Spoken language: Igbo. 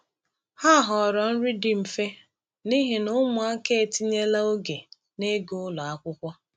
Ha họọrọ nri dị mfe n’ihi na ụmụaka etinyela oge n’ịga ụlọ akwụkwọ.